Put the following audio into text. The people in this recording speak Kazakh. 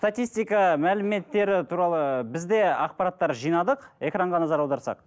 статистка мәліметтері туралы біз де ақпараттар жинадық экранға назар аударсақ